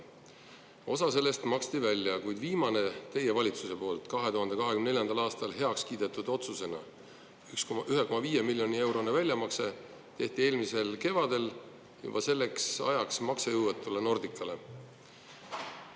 Osa sellest maksti välja ja viimane, teie valitsuse poolt 2024. aastal heaks kiidetud otsusena 1,5 miljoni eurone väljamakse tehti eelmisel kevadel juba selleks ajaks maksejõuetule Nordicale.